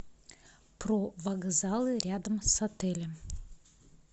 про вокзалы рядом с отелем